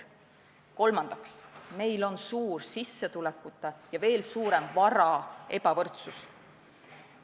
Kolmandaks, meil on suur sissetulekute ja veel suurem vara ebavõrdsus.